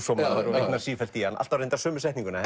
vitnar sífellt í hann alltaf reyndar sömu setninguna